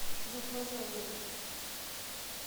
захват заложников